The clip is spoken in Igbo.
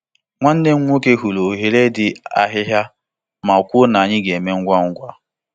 Nwanne m nwoke hụrụ oghere dị ahïhìa ma kwuo na anyị ga-eme ngwa ngwa.